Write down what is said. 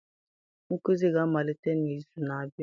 nkuzi ga-amalite n'izu na-abịa!